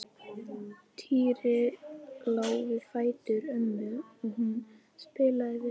Týri lá við fætur ömmu og hún spjallaði við hann.